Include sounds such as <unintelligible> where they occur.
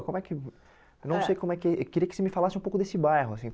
Como é que vo é não sei como que <unintelligible> Eu queria que você me falasse um pouco desse bairro assim.